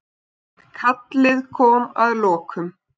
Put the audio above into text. Kallið kom að lokum.